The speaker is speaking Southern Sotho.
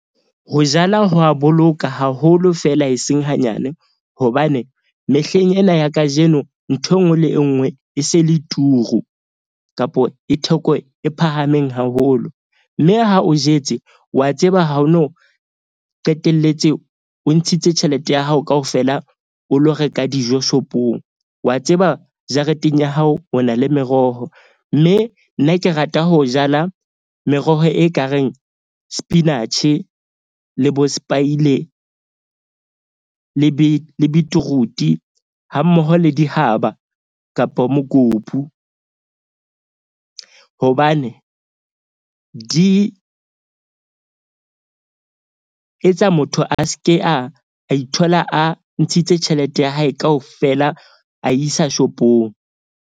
Ho jala ho a boloka haholo feela, e seng hanyane. Hobane mehleng ena ya kajeno nthwe enngwe le enngwe e se e le turu kapo e theko e phahameng haholo. Mme ha o jetse wa tseba, ha o no qetelletse, o ntshitse tjhelete ya hao kaofela, o lo reka dijo shop-ong. Wa tseba jareteng ya hao o na le meroho. Mme nna ke rata ho jala meroho e kareng, spinatjhe le bo spaile le le beetroot-i hammoho le dihaba kapa mokopu. Hobane di etsa motho a ske a ithola, a ntshitse tjhelete ya hae kaofela a isa shop-ong.